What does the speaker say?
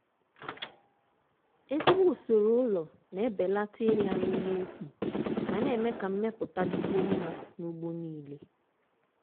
ezigbo usoro ụlọ na-ebelata ịla nri n'efu ma na-eme ka mmepụta dịkwuo mma n'ugbo niile.